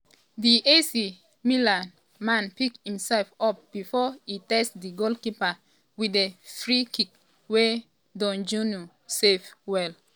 di ac milan man pick imsef up before e test di goalkeeper wit di freekick wey dondjinou save well.